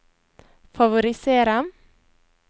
favorisere